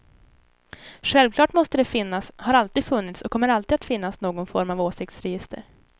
Självklart måste det finnas, har alltid funnits och kommer alltid att finnas någon form av åsiktsregister.